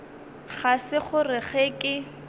ga se gore ge ke